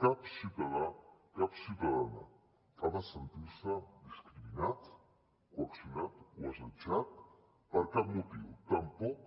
cap ciutadà cap ciutadana ha de sentir se discriminat coaccionat o assetjat per cap motiu tampoc